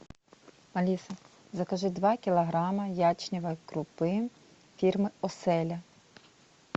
алиса закажи два килограмма ячневой крупы фирмы оселя